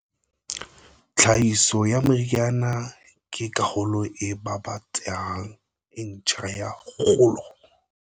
Tlhahiso ya meriana ke karolo e babatsehang e ntjha ya kgolo.